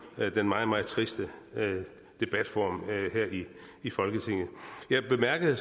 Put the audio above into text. den meget meget triste debatform her i i folketinget jeg bemærkede at